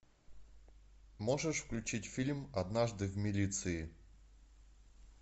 можешь включить фильм однажды в милиции